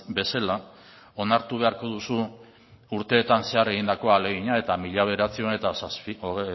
bezala onartu beharko duzu urteetan zehar egindako ahalegina eta mila bederatziehun eta